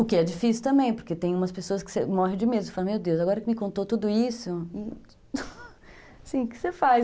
O que é difícil também, porque tem umas pessoas que você morre de medo, você fala, meu Deus, agora que me contou tudo isso, assim, o que você faz?